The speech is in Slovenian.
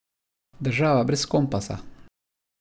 Država brez kompasa.